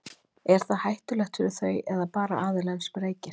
er það hættulegt fyrir þau eða bara fyrir aðilann sem reykir